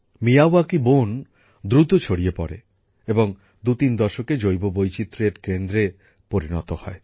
Miyawaki বন দ্রুত ছড়িয়ে পড়ে এবং ২৩ দশকে জীববৈচিত্র্যের কেন্দ্রে পরিণত হয়